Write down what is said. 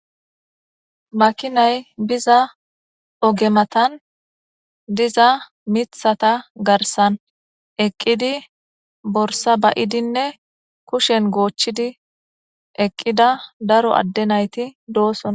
makinay biza oge matan diza mithata garsan eqqidi borsa bayidinne kushen goochchidi eqqida daro adde nayti doosona